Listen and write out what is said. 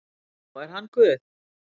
Já, er hann Guð?